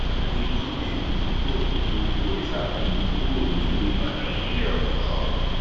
lọjọ ajé monde ni wọn gbé òkú orìṣàbùnmí kúrò nílùú ìbàdàn ìpínlẹ ọyọ